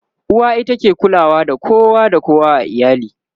uwa ita ke kulawa da kowa da kowa a iyali